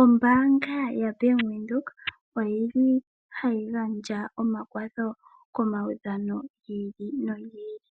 Ombaanga ya venduka, oti li ha yi gandja omakwatho, komaudhano gi ili no gi ili.